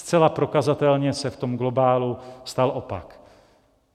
Zcela prokazatelně se v tom globálu stal opak.